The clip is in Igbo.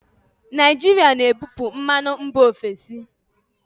Naijiria na-ebupu mmanụ mba ofesi.